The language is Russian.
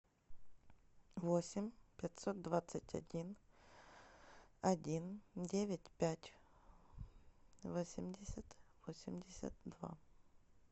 восемь пятьсот двадцать один один девять пять восемьдесят восемьдесят два